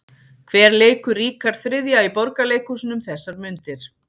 Hver leikur Ríkharð þriðja í Borgarleikhúsinu um þessar mundir?